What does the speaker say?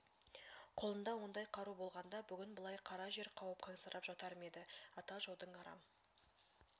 қолында ондай қару болғанда бүгін былай қара жер қауып қансырап жатар ма еді ата жаудың арам